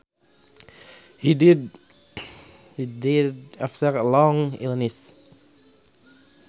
He died after a long illness